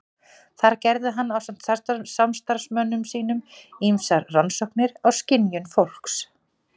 Þar gerði hann ásamt samstarfsmönnum sínum ýmsar rannsóknir á skynjun fólks.